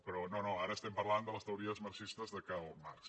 però no no ara estem parlant de les teories marxistes de karl marx